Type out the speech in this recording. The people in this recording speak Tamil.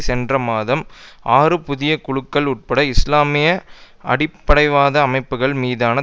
சென்ற மாதம் ஆறு புதிய குழுக்கள் உட்பட இஸ்லாமிய அடிப்படைவாத அமைப்புக்கள் மீதான